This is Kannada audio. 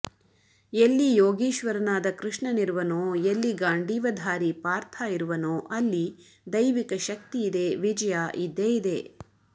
ಎಲ್ಲಿ ಯೋಗೀಶ್ವರನಾದ ಕೃಷ್ಣನಿರುವನೋ ಎಲ್ಲಿ ಗಾಂಡೀವಧಾರಿ ಪಾರ್ಥ ಇರುವನೋ ಅಲ್ಲಿ ದೈವಿಕ ಶಕ್ತಿ ಇದೆ ವಿಜಯ ಇದ್ದೇ ಇದೆ